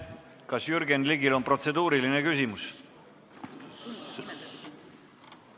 Kas Jürgen Ligil on protseduuriline küsimus?